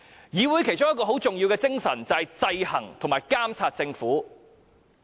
議會其中一項很重要的職能是制衡和監察政府。